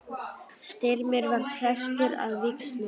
Styrmir var prestur að vígslu.